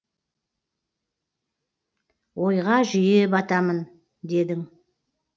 ойға жиі батамын дедің